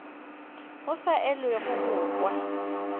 go sa elwego go kwa